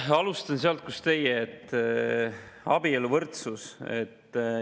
Ma alustan sealt, kust teie: abieluvõrdsusest.